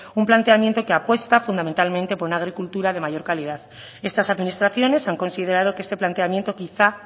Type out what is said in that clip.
un planteamiento que apuesta fundamentalmente por una agricultura de mayor calidad estas administraciones han considerado que este planteamiento quizá